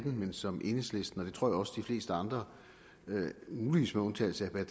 men som enhedslisten det tror jeg også de fleste andre muligvis med undtagelse af